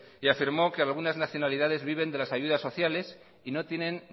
y afirmó que algunas nacionalidades viven de las ayudas sociales y no tienen